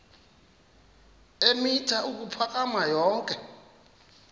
eemitha ukuphakama yonke